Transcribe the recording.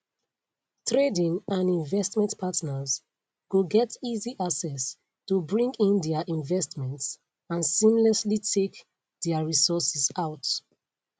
trading and investment partners go get easy access to bring in dia investments and seamlessly take dia resources out